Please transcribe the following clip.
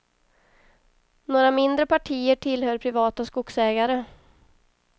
Några mindre partier tillhör privata skogsägare.